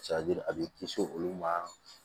a b'i kisi olu ma